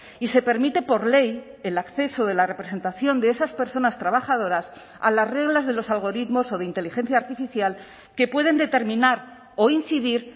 y se permite por ley el acceso de la representación de esas personas trabajadoras a las reglas de los algoritmos o de inteligencia artificial que pueden determinar o incidir